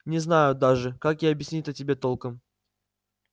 не знаю даже как и объяснить-то тебе толком